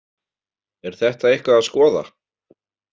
Er þetta eitthvað að skoða?